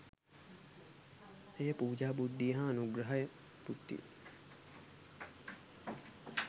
එය පූජා බුද්ධිය හා අනුග්‍රහ බුද්ධිය